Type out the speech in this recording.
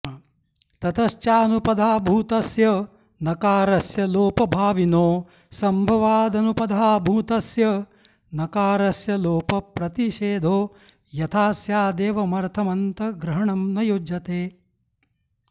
ततश्चानुपधाभूतस्य नकारस्य लोपभाविनोऽसम्भवादनुपधाभूतस्य नकारस्य लोपप्रतिषेधो यथा स्यादेवमर्थमन्तग्रहणं न युज्यते